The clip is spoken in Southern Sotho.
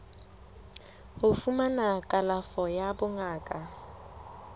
ho fumana kalafo ya bongaka